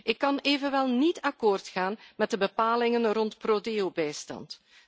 Ik kan evenwel niet akkoord gaan met de bepalingen rond pro Deobijstand.